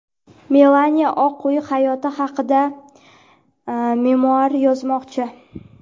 Melaniya Oq uy hayoti haqida memuar yozmoqchi.